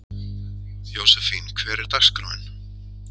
Jósefín, hvernig er dagskráin?